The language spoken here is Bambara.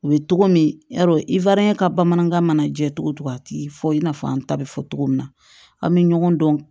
U bɛ togo min yarɔ i fa ye ka bamanankan mana jɛ cogo cogo a ti fɔ i n'a fɔ an ta bɛ fɔ cogo min na an bɛ ɲɔgɔn dɔn